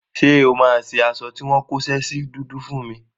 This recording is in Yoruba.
Ṣé o máa ṣe aṣọ tí wọ́n kóṣẹ́ sí dúdú fún mi?